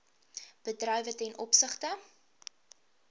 bedrywe ten opsigte